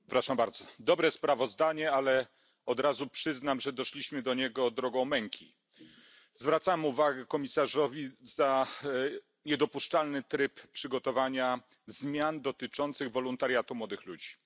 Panie Przewodniczący! Dobre sprawozdanie, ale od razu przyznam, że doszliśmy do niego drogą męki. Zwracam uwagę komisarzowi za niedopuszczalny tryb przygotowania zmian dotyczących wolontariatu młodych ludzi.